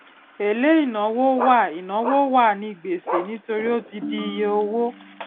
èlé ìnáwó wà ìnáwó wà ní gbèsè nítorí ó ti di iye òwò